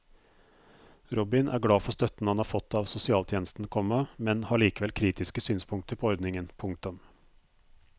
Robin er glad for støtten han har fått av sosialtjenesten, komma men har likevel kritiske synspunkter på ordningen. punktum